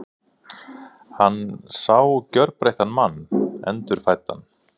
Hann sá gjörbreyttan mann, endurfæddan.